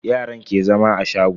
Yaran ke zama a shago.